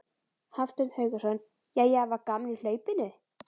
Hafsteinn Hauksson: Jæja var gaman í hlaupinu?